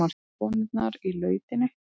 Konurnar í lautinni.